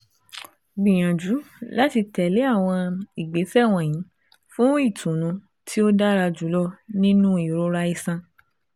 Gbiyanju lati tẹle awọn igbesẹ wọnyi fun itunu ti o dara julọ ninu irora iṣan